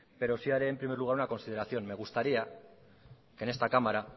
pero sí haré en primer lugar una consideración me gustaría que en esta cámara